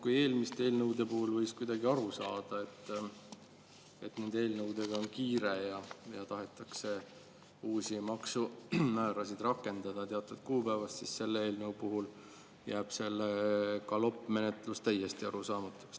Kui eelmiste eelnõude puhul võis kuidagi aru saada, et nendega on kiire ja tahetakse uusi maksumäärasid rakendada teatud kuupäevast, siis selle eelnõu puhul jääb see galoppmenetlus täiesti arusaamatuks.